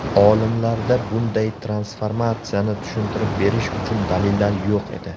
Olimlarda bunday transformatsiyani tushuntirib berish uchun dalillar yo‘q edi.